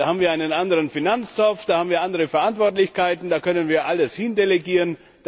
Da haben wir einen anderen Finanztopf, da haben wir andere Verantwortlichkeiten, da können wir alles hindelegieren.